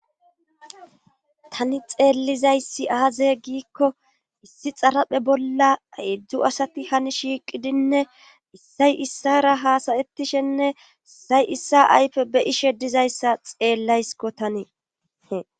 tani xeellizayssi aaze giikko issi xaraphe bolla heezhzhu asati hani shiiqidinne issay issara haasayettishenne issay issa ayfe be ishe dizayssa xeellaysko tanii.